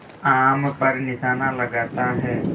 आम पर निशाना लगाता है